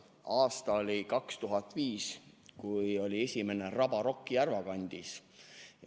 Aasta oli 2005, kui oli esimene Rabarock Järvakandis.